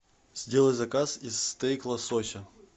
сделай заказ из стейк лосося